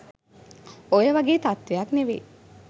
ඔය වගේ තත්වයක් නෙවෙයි